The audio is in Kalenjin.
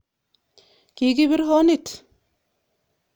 Kikibir honit